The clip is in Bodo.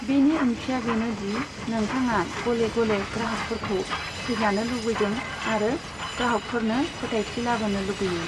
बेनि ओंथिया बेनोदि नोंथाङा गले गले ग्राहकफोरखौ फैजानो लुगैदों आरो ग्राहकफोरनो फोथायथि लाबोनो लुगैयो।